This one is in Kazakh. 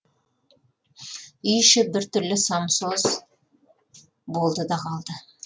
үй іші бір түрлі самсоз болды да қалды